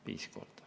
Viis korda.